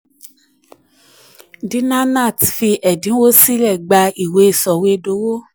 dina nath fi ẹ̀dínwó sílẹ̀ gba ìwé sọ̀wédowó.